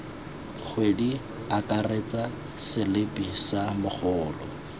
kgwedi akaretsa selipi sa mogolo